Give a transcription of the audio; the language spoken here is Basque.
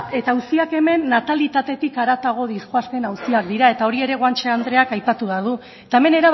uziak hemen natalitatetik haratago doazen auziak dira eta hori ere guanche andreak aipatu badu eta hemen